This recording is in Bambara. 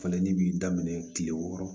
Falenni b'i daminɛ kile wɔɔrɔ